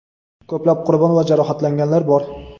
Ko‘plab qurbon va jarohatlanganlar bor.